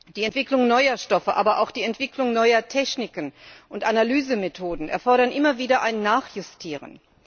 Die Entwicklung neuer Stoffe, aber auch die Entwicklung neuer Techniken und Analysemethoden erfordert immer wieder ein Nachjustieren.